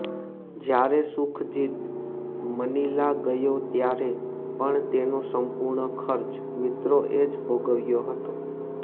જ્યારે સુખજીત મનીલા ગયો ત્યારે પણ તેનો સંપૂર્ણ ખર્ચ મિત્રોએ જ ભોગવ્યો હતો